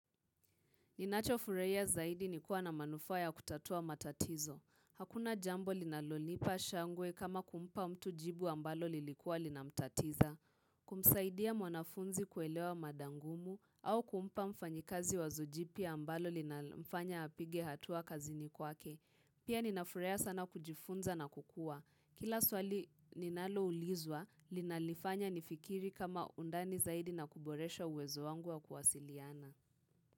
Ninachofurahia zaidi ni kuwa na manufaa ya kutatua matatizo. Hakuna jambo linalonipa shangwe kama kumpa mtu jibu ambalo lilikuwa linamtatiza. Kumsaidia mwanafunzi kuelewa mada ngumu au kumpa mfanyikazi wazo jipya ambalo linalomfanya apige hatua kazini kwake. Pia ninafurea sana kujifunza na kukua. Kila swali ninaloulizwa, linanifanya nifikiri kama undani zaidi na kuboresha uwezo wangu wa kuwasiliana.